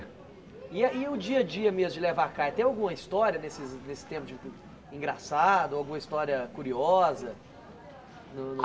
E a o dia a dia mesmo de levar a caixa, tem alguma história nesse nesse tempo de engraçada, ou alguma história curiosa?